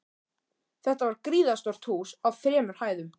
Þetta var gríðarstórt hús á þremur hæðum.